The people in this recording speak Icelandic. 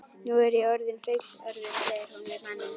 Nú er ég orðin fullorðin, segir hún við manninn.